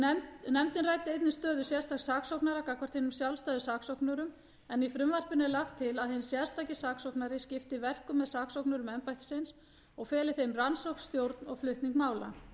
nefndin ræddi einnig stöðu sérstaks saksóknara gagnvart hinum sjálfstæðu saksóknurum en í frumvarpinu er lagt til að hinn sérstaki saksóknari skipti verkum með saksóknurum embættisins og feli þeim rannsókn stjórn og flutning mála